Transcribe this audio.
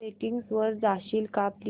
settings वर जाशील का प्लीज